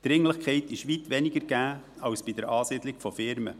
Dringlichkeit ist weit weniger gegeben, als bei der Ansiedlung von Firmen.